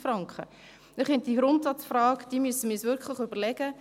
Ich denke, wir müssen uns diese Grundsatzfrage wirklich stellen.